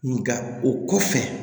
Nga o kɔfɛ